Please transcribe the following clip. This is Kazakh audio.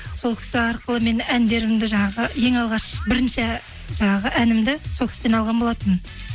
сол кісі арқылы мен әндерімді жаңағы ең алғаш бірінші жаңағы әнімді сол кісіден алған болатынмын